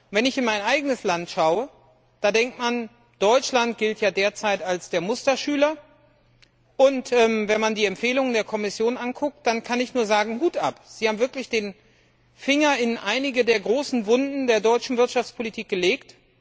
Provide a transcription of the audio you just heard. Wenn ich in mein eigenes Land schaue, da denkt man, Deutschland gilt ja derzeit als der Musterschüler, und wenn man die Empfehlungen der Kommission anschaut, dann kann ich nur sagen Hut ab, Sie haben wirklich den Finger in einige der großen Wunden der deutschen Wirtschaftspolitik gelegt!